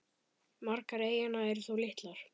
Margar eyjanna eru þó litlar.